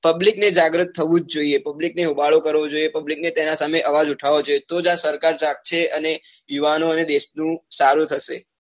public ને જાગ્રત થવું જ જોઈએ public ને હોબાળો કરવો જોઈએ public ને જ તેના સામે અવાજ ઉઠાવવો જોઈએ તો જ આ સરકાર જાગશે અને યુવાનો અને દેશ નું સારું થશે.